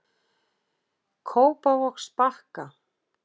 Kópavogsbakka